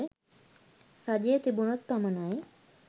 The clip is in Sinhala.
රජය තිබුණොත් පමණයි.